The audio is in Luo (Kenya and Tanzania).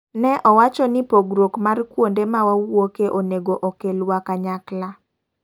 Ne owacho ni pogruok mar kuonde ma wawuoke onego okel wa kanyakla.